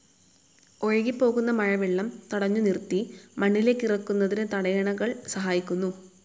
ഒഴുകിപ്പോകുന്ന മഴവെള്ളം തടഞ്ഞുനിറുത്തി മണ്ണിലേക്കിറക്കുന്നതിന് തടയണകൾ സഹായിക്കുന്നു